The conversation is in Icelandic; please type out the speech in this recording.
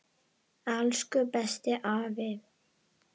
Elsku besti afi.